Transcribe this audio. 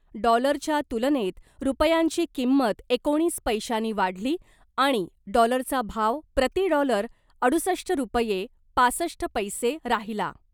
डॉलरच्या तुलनेत रुपयांची किंमत एकोणीस पैशानी वाढली आणि डॉलरचा भाव प्रती डॉलर अडुसष्ट रुपये पासष्ट पैसे राहिला .